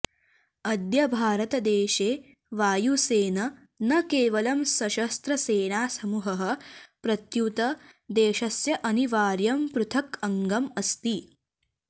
अद्य भारते देशे वायुसेन न केवलं सशस्त्रसेनासमूहः प्रत्युत देशस्य अनिवार्यं पृथक् अङ्गम् अस्ति